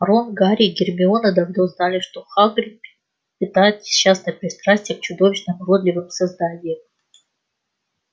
рон гарри и гермиона давно знали что хагрид питает несчастное пристрастие к чудовищным уродливым созданиям